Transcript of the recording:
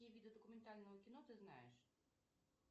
какие виды документального кино ты знаешь